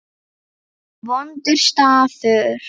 Vondur staður.